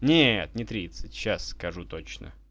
нет не тридцать сейчас скажу точно